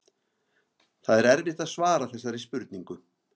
Það er erfitt að svara þessari spurningu.